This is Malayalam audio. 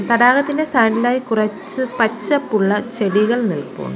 തടാകത്തിന്റെ സൈഡ് ഇൽ ആയി കുറച്ച് പച്ചപ്പുള്ള ചെടികൾ നിൽപ്പുണ്ട്.